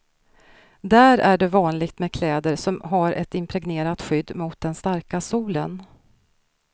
Där är det vanligt med kläder som har ett impregnerat skydd mot den starka solen.